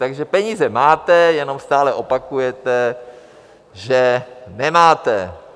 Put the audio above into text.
Takže peníze máte, jenom stále opakujete, že nemáte.